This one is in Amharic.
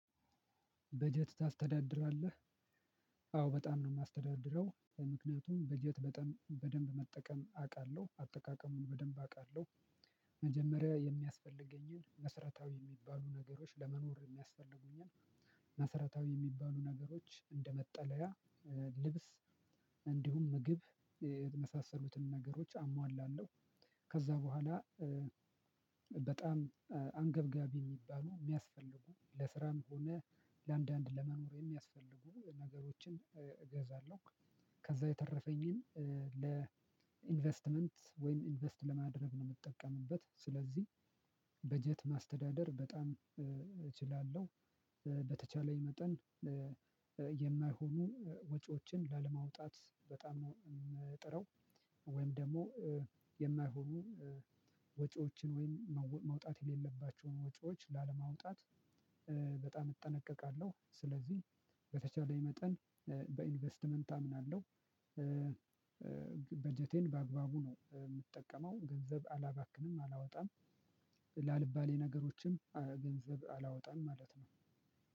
በጀት ታስተዳድራለህ? አዎ በጣም ነው እማስተዳድረው ምክንያቱም በጀት በደንብ መጠቀም አውቃለሁ አጠቃቀሙን በደንብ አውቃለሁ። መጀመሪያ የሚያስፈልገኝን መስረታዊ የሚባሉ ነገሮች ለመኖር የሚያስፈልጉኝን መሰረታዊ የሚባሉ ነገሮች እንደመጠለያ ልብስ እንዲሁም ምግብ የመሳሰሉትን ነገሮች አሟላለሁ። ከዛ በኋላ በጣም አንገብጋቢ የሚባሉ የሚያስፈልጉ ለስራም ሆነ ለአንዳንድ ለመኖር የሚያስፈልጉ ነገሮችን እገዛለሁ። ከዛ የተረፈኝን ለኢንቨስትመንት ወይም ኢንቨስት ለማድረግ ነው የምጠቀምበት። ስለዚህ በጀት ማስተዳደር በጣም እችላለሁ። በተቻለኝ መጠን የማይሆኑ ወጪዎችን ላለማውጣት በጣም ነው እምጥረው። ወይም ደግሞ የማይሆኑ ወጪዎችን ወይም መውጣት የሌለባቸውን ወጪዎች ላለማውጣት በጣም እጠነቀቃለሁ። ስለዚህ በተቻለኝ መጠን በኢንቨስትመንት አምናለሁ። በጀቴን በአግባቡ ነው እምጠቀመው ገንዘብ አላባክንም አላወጣም። ላልባሌ ነገሮችም ገንዘብ አላወጣም ማለት ነው።